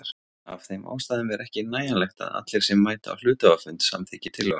Af þeim ástæðum er ekki nægjanlegt að allir sem mæta á hluthafafund samþykki tillöguna.